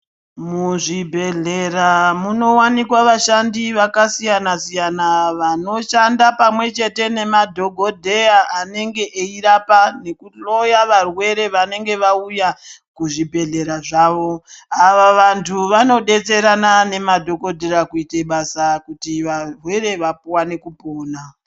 Muzvibhedhlera munowanikwa vashandi vakasiyana-siyana, vanoshanda pamwe chete nemadhogodheya, anenge eirapa nekuhloya varwere vanenge vauya, kuzvibhedhlera zvavo. Ava vantu vanodetserana nemadhokodhera kuite basa, kuti varwere vawane kupona.